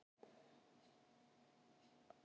Ég hef farið upp Esjuna mörgum sinnum.